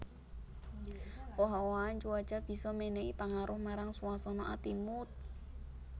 Owah owahan cuaca bisa mènèhi pangaruh marang swasana ati mood